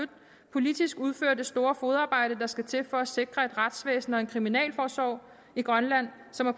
politisk udfører det store fodarbejde der skal til for at sikre et retsvæsen og en kriminalforsorg i grønland som er